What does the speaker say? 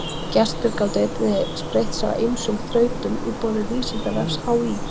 Gestir gátu einnig spreytt sig á ýmsum þrautum í boði Vísindavefs HÍ.